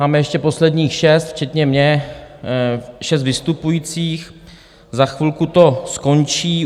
Máme ještě posledních šest, včetně mě, šest vystupujících, za chvilku to skončí.